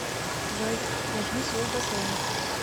джой зажги свет в бассейне